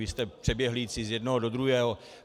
Vy jste přeběhlíci z jednoho do druhého.